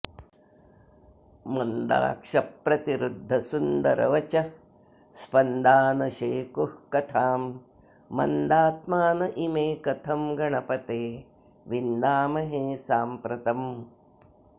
मन्दाक्षप्रतिरुद्धसुन्दरवचःस्पन्दा न शेकुः कथां मन्दात्मान इमे कथं गणपते विन्दामहे साम्प्रतम्